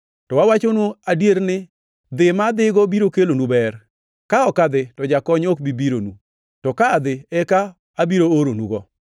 To awachonu adier ni dhi ma adhigo biro kelonu ber. Ka ok adhi, to Jakony ok bi bironu; to ka adhi eka abiro oronugo.